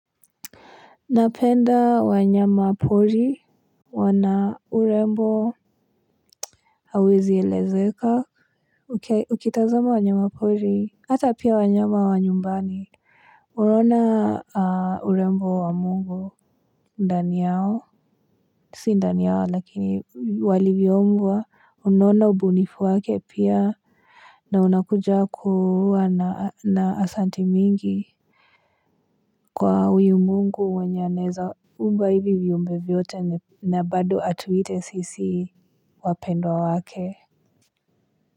Napenda wanyama pori wana urembo hawezi elezeka ukitazama wanyama pori hata pia wanyama wa nyumbani unaona urembo wa mungu ndani yao si ndani yao lakini walivyoubwa unaona ubunifu wake pia na unakuja kuwa na asanti mingi. Kwa huyu mungu anaweza umba hivi viumbe vyote na baado atuite sisi wapendwa wake.